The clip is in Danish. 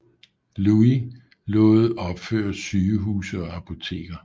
Louis lod opføre sygehuse og apoteker